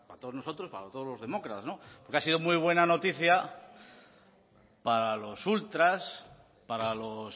todos nosotros para todos los demócratas porque ha sido muy buena noticia para los ultras para los